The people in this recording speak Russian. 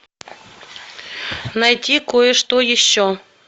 найти кое что еще